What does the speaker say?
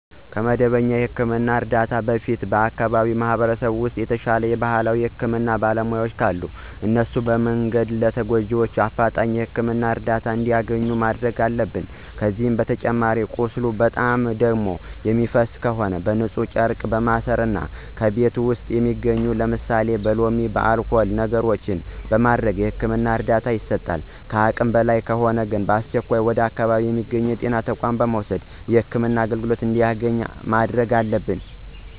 ከመደበኛ የህክምና እርዳታ በፊት በአከባቢው ማህበረሰብ ውስጥ የተሻለ የባህላዊ የህክምና ባለሙያዎች ካሉ ለእነሱ በመንገር ለተጎጁ በአፍጣኝ የህክምና እርዳታ እንዲያገኝ ማድረግ አለብን። ከዚህ በተጨማሪ ቁስሉ በጣም ደም የሚፈሰው ከሆነ በንፁህ ጨርቅ በማሰር እና ከቤት ውስጥ በሚገኙ ለምሳሌ በሎሚ፣ በአልኮል ነገሮችን በማድረግ የህክምና እርዳታ ይሰጣል። ከአቅም በላይ ከሆነ በአስቸኳይ ወደ አካባቢው በሚገኙ የጤና ተቋማት በመውሰድ የህክምና አገልግሎት እንዲያገኝ ማድረግ አለብን።